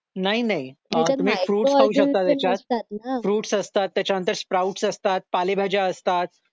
नाही नाही अह तुम्ही फ्रुट्स खाऊ शकता त्याच्यात फ्रुट्स असतात त्याच्यानंतर स्प्राऊट्स असतात पालेभाज्या असतात